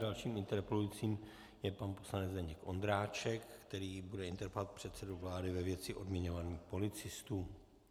Dalším interpelujícím je pan poslanec Zdeněk Ondráček, který bude interpelovat předsedu vlády ve věci odměňování policistů.